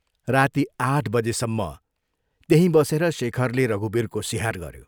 राती आठ बजेसम्म त्यहीं बसेर शेखरले रघुवीरको सिहार गऱ्यो।